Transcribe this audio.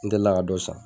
N delila ka dɔ san